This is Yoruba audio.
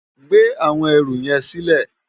Gbé áwòn èrú yèn silè